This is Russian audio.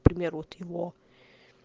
к примеру вот его